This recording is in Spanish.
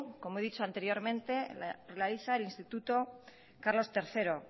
como he dicho anteriormente la realiza el instituto carlos tercero